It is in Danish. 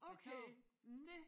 Med tog mh